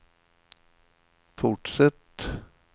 fortsätt